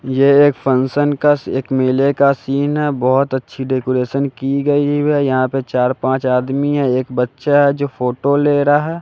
यह एक फंक्शन का एक मेले का सीन है। बहोत अच्छी डेकोरेशन की गई है। यहां पर चार पांच आदमी है। एक बच्चा है जो फोटो ले रहा--